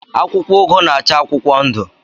Akwụkwọ ugu na-acha akwụkwọ ndụ.